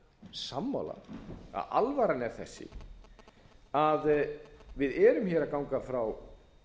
sammála alvara er þessi að við erum hér að ganga frá